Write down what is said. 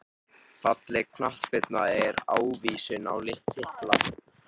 Falleg knattspyrna ekki ávísun á titla